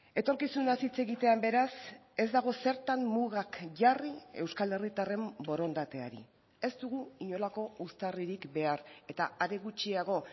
etorkizunaz hitz egitean beraz ez dago zertan mugak jarri euskal herritarren borondateari ez dugu inolako uztarririk behar eta are gutxiago